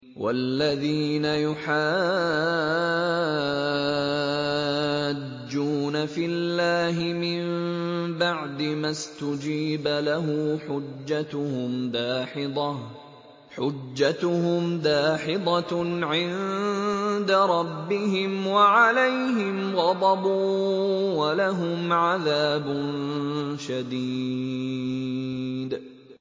وَالَّذِينَ يُحَاجُّونَ فِي اللَّهِ مِن بَعْدِ مَا اسْتُجِيبَ لَهُ حُجَّتُهُمْ دَاحِضَةٌ عِندَ رَبِّهِمْ وَعَلَيْهِمْ غَضَبٌ وَلَهُمْ عَذَابٌ شَدِيدٌ